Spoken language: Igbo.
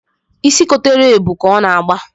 Isi kotara ebu ka ọ na-agba